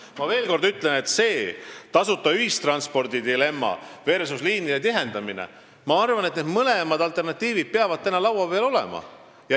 Ma ütlen veel kord: mis puudutab dilemmat tasuta ühistransport versus liinide tihendamine, siis mõlemad alternatiivid peavad olema arutelu all.